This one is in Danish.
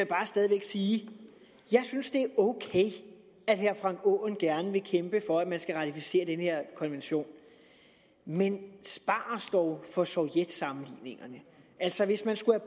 bare stadig væk sige at jeg synes det er at herre frank aaen gerne vil kæmpe for at man skal ratificere den her konvention men spar os dog for sovjetsammenligningerne altså hvis man skulle